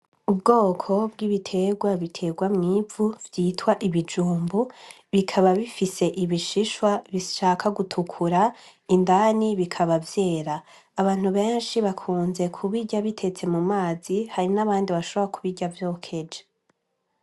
Ubwoko bw' ibiterwa biterwa mw'ivu vyitwa ibijumbu, bikaba bisifis'ibishishwa bishaka gutukura, indani bikaba vyera, abantu benshi bakunda kubirya bitetse mumazi hari n'abandi bahobora kubirya vyokeje.